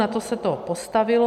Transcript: Na to se to postavilo.